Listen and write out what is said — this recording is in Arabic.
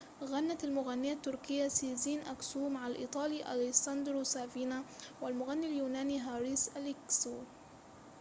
غنت المغنية التركية سيزين أكسو مع الإيطالي أليساندرو سافينا والمغني اليوناني هاريس أليكسيو